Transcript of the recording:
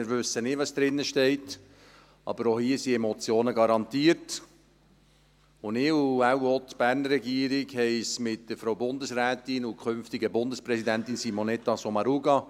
Wir wissen nicht, was drinsteht, aber auch hier sind Emotionen garantiert, und ich und wahrscheinlich auch die Berner Regierung haben mit der Frau Bundesrätin und künftigen Bundespräsidentin Simonetta Sommaruga …